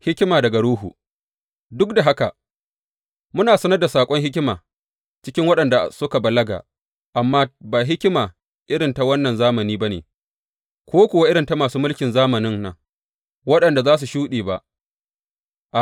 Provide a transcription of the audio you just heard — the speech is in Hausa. Hikima daga Ruhu Duk da haka, muna sanar da saƙon hikima cikin waɗanda suka balaga, amma ba hikima irin ta wannan zamani ba ne, ko kuwa irin ta masu mulkin zamanin nan, waɗanda za su shuɗe ba.